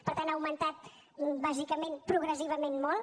per tant ha augmentat bàsicament progressivament molt